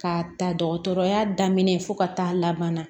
K'a ta dɔgɔtɔrɔya daminɛ fo ka taa laban